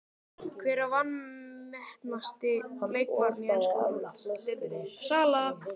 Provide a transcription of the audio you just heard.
Hver er vanmetnasti leikmaðurinn í ensku úrvalsdeildinni?